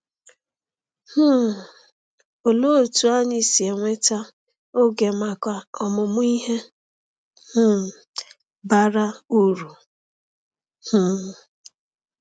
um Olee otú anyị si enweta oge maka ọmụmụ ihe um bara uru? um